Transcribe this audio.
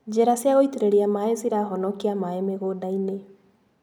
Njĩra cia gũitĩrĩria maĩ cirahonokia maĩ mĩgũndainĩ.